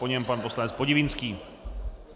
Po něm pan poslanec Podivínský.